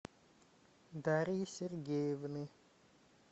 дарьи сергеевны